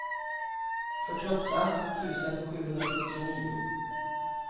fyrtioåtta tusen sjuhundrasjuttionio